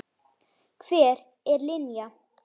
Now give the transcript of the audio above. Hver er Linja?